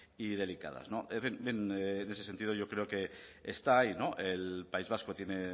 y delicadas en ese sentido yo creo que está ahí el país vasco tiene